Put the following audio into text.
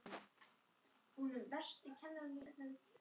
Af þessu varð mikill spuni.